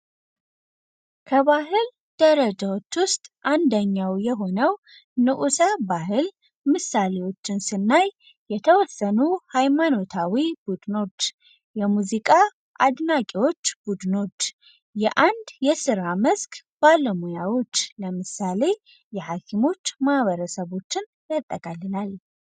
ከባህል ደረጃዎች ውስጥ አንደኛው የሆነው ንዑሰ ባህል ምሳሌዎችን ስናይኖ ሃይማኖታዊ ቡድኖች የሙዚቃ አድናቂዎች ቡድኖች የአንድ የራ መስክ ባለሙያዎች ለምሳሌ የሃክም ማህበረሰቦችን ያጠቃልላል።